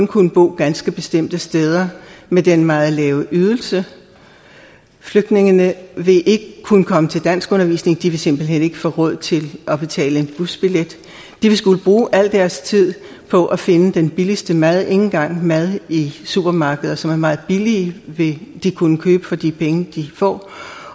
kunne bo ganske bestemte steder med den meget lave ydelse flygtningene vil ikke kunne komme til danskundervisning de vil simpelt hen ikke få råd til at betale en busbillet de vil skulle bruge al deres tid på at finde den billigste mad ikke engang mad i supermarkeder som er meget billige vil de kunne købe for de penge de får